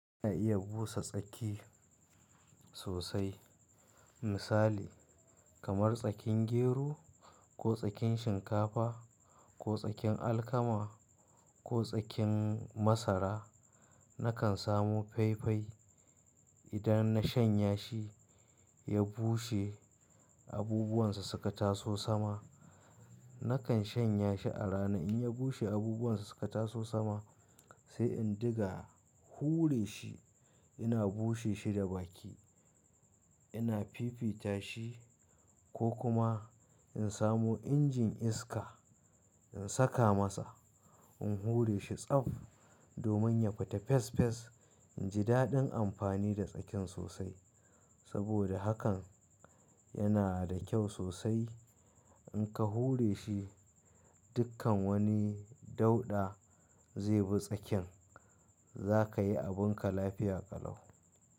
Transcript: Ana iya busa tsaki sosai. Misali kamar tsakin gero ko tsakin shinkafa ko tsakin alkama ko tsakin masara. Nakan samu faifai idan na shanya shi ya bushe abubuwansa suka taso sama. Nakan shanya shi a rana in ya bushe abubuwansa suka taso sama sai in dinga hure shi. Ina bushe shi da baki, ina fifita shi ko kuma in samo injin iska in saka masa, in hure shi tsaf domin ya fita fes fes. In ji daɗin amfani da tsakin sosai. Saboda hakan yana da kyau sosai. In ka hure shi dukkan wani dauɗa zai bi tsakin za ka yi abinka lafiya ƙalau.